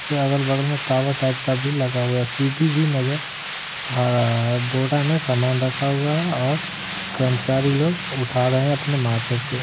फिर अगल बगल में टावर टाइप का भी लगा हुआ है सीढ़ी भी नजर आ रहा है बोरा में सामान रखा हुआ है और कर्मचारी लोग उठा रहे हैं अपने माथे पे।